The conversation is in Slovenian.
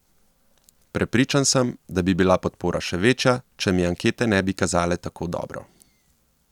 Prepričan sem, da bi bila podpora še večja, če mi ankete ne bi kazale tako dobro.